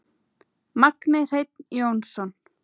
Magni Hreinn Jónsson